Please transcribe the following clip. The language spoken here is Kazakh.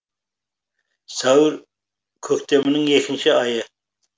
сәуір көктемнің екінші айы